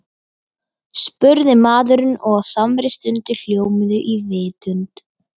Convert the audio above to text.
spurði maðurinn og á samri stundu hljómuðu í vitund